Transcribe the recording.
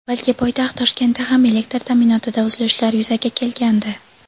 balki poytaxt Toshkentda ham elektr ta’minotida uzilishlar yuzaga kelgandi.